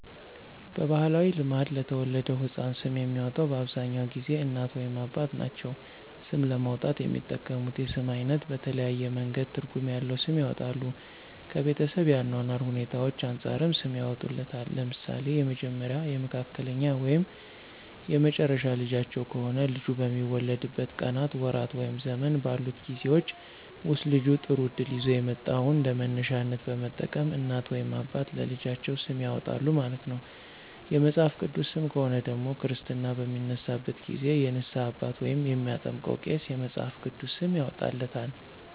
በባህላዊ ልማድ ለተወለደው ህፃን ስም የሚያወጣው በአብዛኛውን ጊዜ እናት ወይም አባት ናቸው። ስም ለማውጣት የሚጠቀሙት የስም አይነት በተለያየ መንገድ ትርጉም ያለዉ ስም ያወጣሉ። ከቤተሰብ የአኗኗር ሁኔታዎች አንፃርም ሰም ያወጡለታል። ለምሳሌ የመጀመሪያ፣ የመካከለኛ ወይም የመጨረሻ ልጃቸው ከሆነ ልጁ በሚወለድበት ቀናት፣ ወራት ወይም ዘመን ባሉት ጊዜወች ወስጥ ልጁ ጥሩ እድል ይዞ የመጣውን እንደመነሻነት በመጠቀም እናት ወይም አባት ለልጃቸው ስም ያወጣሉ ማለት ነው። የመጽሐፍ ቅዱስ ሰም ከሆነ ደግሞ ክርስትና በሚነሳበት ጊዜ የንስሃ አባት ወይም የሚያጠምቀው ቄስ የመፅሐፍ ቅዱስ ስም ያወጣለታል።